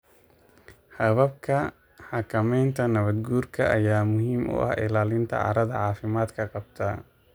Hababka xakamaynta nabaad guurka ayaa muhiim u ah ilaalinta carrada caafimaadka qabta.